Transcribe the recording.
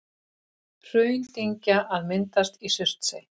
Hraundyngja að myndast í Surtsey.